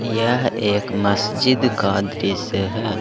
यह एक मस्जिद का दृश्य है।